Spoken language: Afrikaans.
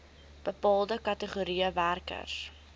bepaalde kategorieë werkers